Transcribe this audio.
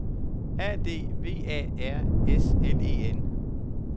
A D V A R S L E N